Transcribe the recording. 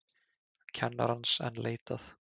Kennarans enn leitað